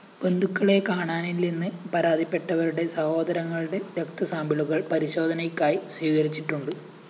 ബന്ധുക്കളെ കാണാനില്ലെന്ന് പരാതിപ്പെട്ടവരുടെ സഹോദരങ്ങളുടെ രക്തസാമ്പിളുകള്‍ പരിശോധനയ്ക്കായി സ്വീകരിച്ചിട്ടുണ്ട്